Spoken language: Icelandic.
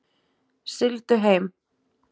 Sigldu heill.